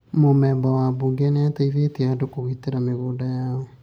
Mũmemba wa mbunge nĩ ateithĩtie andũ kũgitĩra mĩgũnda yao.